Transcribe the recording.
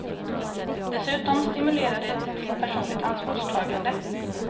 Dessutom stimulerar det till personligt ansvarstagande.